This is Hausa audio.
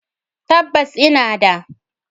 Tabbas! ina da